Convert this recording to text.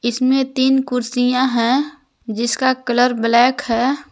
इसमें तीन कुर्सियां है जिसका कलर ब्लैक है।